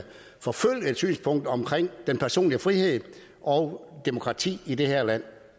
forfølge et synspunkt om personlig frihed og demokrati i det her land